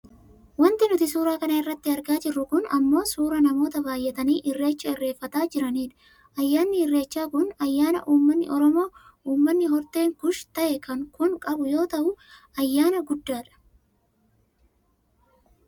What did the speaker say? Wanti nuti suuraa kanarratti argaa jirru kun ammoo suuraa namoota baayyatanii irreecha irreeffataa jiraniidha. Ayyaanni ireechaa kun ayyaana uummanni Oromoo uummanni horteen kuush ta'e kun qabu yoo ta'u ayyaana guddaadha.